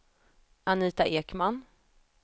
Anita Ekman